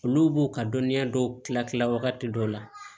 Olu b'o ka dɔnniya dɔw kila kila wagati dɔ la